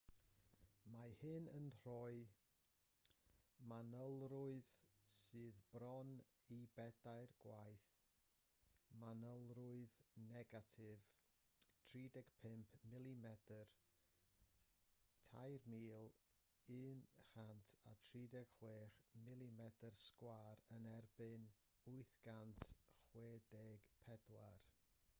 mae hyn yn rhoi manylrwydd sydd bron i bedair gwaith manylrwydd negatif 35 mm 3136 mm2 yn erbyn 864